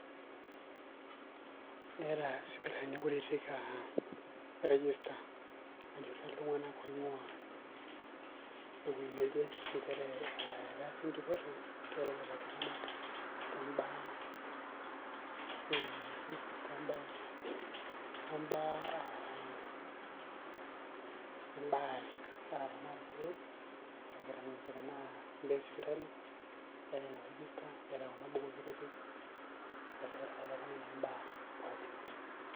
eeta isipitalini kutitik register najurie iltung'anak oing'uaa ewweei neje, nchere etaasa ejurore tiatua lelo tung'anak, too mbaa ebaare, naa ibaa e sipiitali too kuna bukui kutitik eesakita kulo tunganak ibaa pookin.